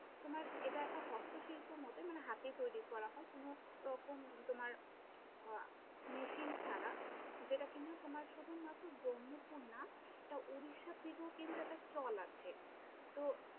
তোমার এটা একটা হস্ত শিল্পর মতোই, মানে হাতে তৈরী করা হয়, কোনো রকম তোমার আহ Machine ছাড়া যেটা কি না তোমার শুধুমাত্র ব্রহ্মপুর না এটা উড়িষ্যার দিকেও কিন্তু একটা চল আছে, তো